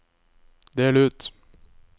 del ut